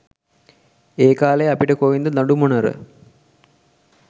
ඒකාලේ අපිට කොයින්ද දඩුමොණර